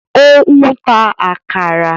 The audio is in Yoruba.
Ó ń ta “àkàrà”.